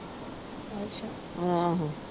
ਆਹੋ।